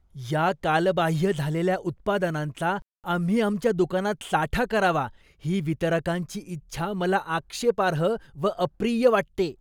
या कालबाह्य झालेल्या उत्पादनांचा आम्ही आमच्या दुकानात साठा करावा ही वितरकांची इच्छा मला आक्षेपार्ह व अप्रिय वाटते.